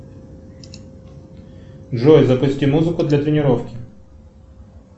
джой запусти музыку для тренировки